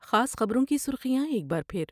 خاص خبروں کی سرخیاں ایک بار پھر ۔